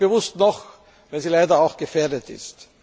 Ich sage bewusst noch, weil sie leider auch schon gefährdet ist.